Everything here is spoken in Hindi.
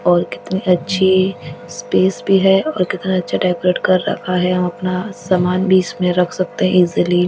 और कितनी अच्छी स्पेस भी है और कितना अच्छा डेकोरेट कर रखा है हम अपना सामान भी इसमें रख सकते हैं इजली --